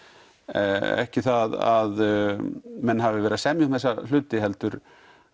ekki það að menn hafi verið að semja um þessa hluti heldur